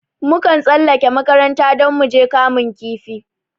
Mun kan tsallake makaranta don muje kamun kifi